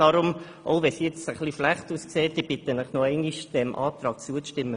Selbst wenn es ein wenig schlecht aussieht, bitte ich Sie nochmals, diesem Antrag zuzustimmen.